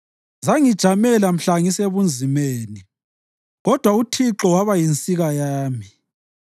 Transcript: Zangijamela mhla ngisebunzimeni, kodwa uThixo waba yinsika yami.